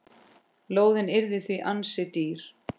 Lóðin yrði því ansi dýr.